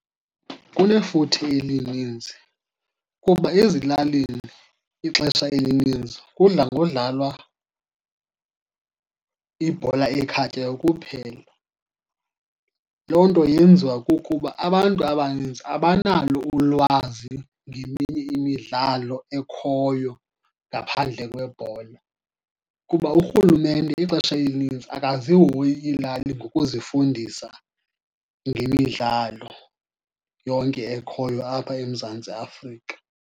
Kunefuthe elininzi kuba ezilalini ixesha elininzi kudla ngodlalwa ibhola ekhatywayo kuphela. Loo nto yenziwa kukuba abantu abaninzi abanalo ulwazi ngeminye imidlalo ekhoyo ngaphandle kwebhola, kuba urhulumente ixesha elinintsi akazihoyi iilali ngokuzifundisa ngemidlalo yonke ekhoyo apha eMzantsi Afrika.